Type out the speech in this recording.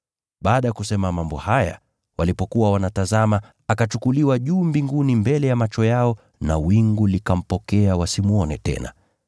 Baada ya kusema mambo haya, walipokuwa wanatazama, akachukuliwa juu mbinguni mbele ya macho yao na wingu likampokea wasimwone tena.